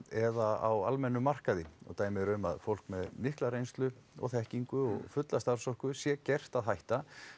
eða á almennum markaði og dæmi eru um að fólk með mikla reynslu og þekkingu og fulla starfsorku sé gert að hætta